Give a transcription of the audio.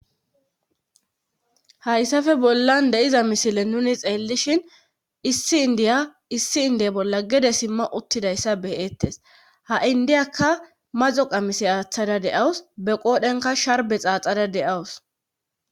Hayssafe bollan de'iza misile nuni xeellishin issi indiya issi indiya bolla gede simma uttidayssa beyeettes ha'i indiyakka mazo qamisi aaththada deawus be qoodhenka sharbe xaaxada de'awus.